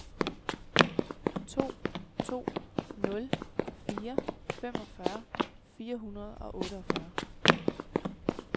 to to nul fire femogfyrre fire hundrede og otteogfyrre